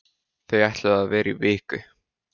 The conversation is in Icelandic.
Þau ætluðu að vera í viku.